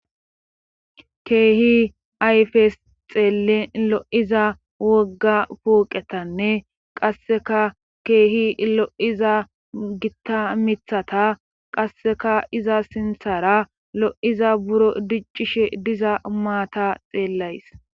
keehi ayfes xeelen lo7iza wogga puuqetanne qasseka keehi lo7iza gitta mithata qasseka iza sinthara lo7iza buro diccishe diza maata xeellays